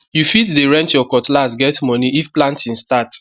u fit de rent ur cutlass get moni if planting start